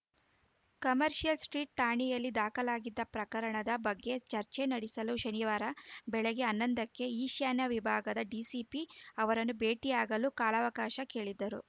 commercial street ಠಾಣೆಯಲ್ಲಿ ದಾಖಲಾಗಿದ್ದ ಪ್ರಕರಣದ ಬಗ್ಗೆ ಚರ್ಚೆ ನಡೆಸಲು ಶನಿವಾರ ಬೆಳಗ್ಗೆ ಹನ್ನೊಂದಕ್ಕೆ ಈಶಾನ್ಯ ವಿಭಾಗದ ಡಿಸಿಪಿ ಅವರನ್ನು ಭೇಟಿಯಾಗಲು ಕಾಲಾವಕಾಶ ಕೇಳಿದ್ದರು